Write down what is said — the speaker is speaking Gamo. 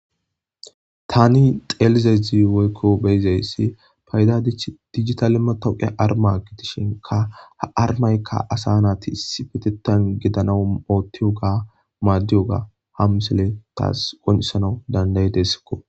Tani xelidays woyko beyizays fayda dijitale matawoqiya arima gidishn ha arimayka asa nati issipetetan gidanaw madiyoga ha misiley tas qoncisanas dandayidesko.